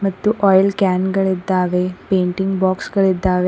ಮತ್ತು oil can ಗಳಿದ್ದಾವೆ painting box ಗಳಿದ್ದಾವೆ.